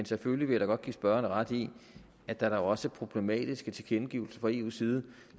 selvfølgelig godt give spørgeren ret i at der da også kommer problematiske tilkendegivelser fra eu’s side